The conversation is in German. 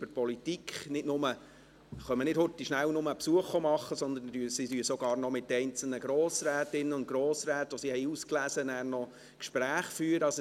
Sie machen nicht nur schnell einen Besuch, sondern sie führen nachher sogar noch mit einzelnen Grossrätinnen und Grossräten, die sie ausgewählt haben, Gespräche.